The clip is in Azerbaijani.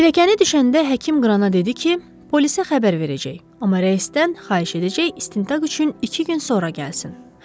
Pilləkəni düşəndə həkim Qrana dedi ki, polisə xəbər verəcək, amma Ryodən xahiş edəcək istintaq üçün iki gün sonra gəlsin.